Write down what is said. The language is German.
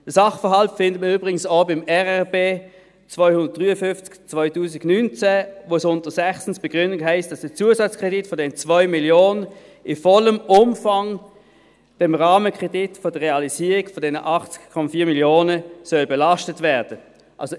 Den Sachverhalt finden wir übrigens auch im RRB 253/2019, bei dem es unter «6 Begründung», heisst, dass der Zusatzkredit von 2 Mio. Franken in vollem Umfang dem Rahmenkredit der Realisierung von 80,4 Mio. Franken belastet werden soll.